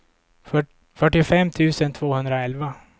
fyrtiofem tusen tvåhundraelva